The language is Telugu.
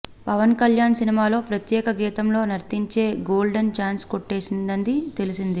పవన్ కల్యాణ్ సినిమాలో ప్రత్యేక గీతంలో నర్తించే గోల్డెన్ ఛాన్స్ కొట్టేసిందని తెలిసింది